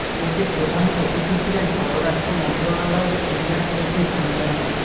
এতে প্রধান অতিথি ছিলেন পররাষ্ট্র মন্ত্রণালয়ের সিনিয়র সচিব মো